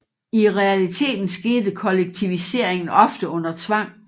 I realiteten skete kollektiviseringen ofte under tvang